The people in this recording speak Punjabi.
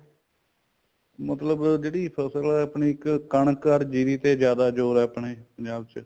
ਮਤਲਬ ਜਿਹੜੀ ਫਸਲ ਆਪਣੀ ਇੱਕ ਕਣਕ ਅਰ ਜੀਰੀ ਤੇ ਜਿਆਦਾ ਜੋਰ ਹੈ ਆਪਣੇ ਪੰਜਾਬ ਚ